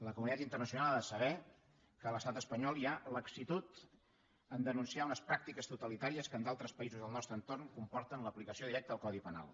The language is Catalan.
la comunitat internacional ha de saber que a l’estat espanyol hi ha laxitud a denunciar unes pràctiques totalitàries que en d’altres països del nostre entorn comporten l’aplicació directa del codi penal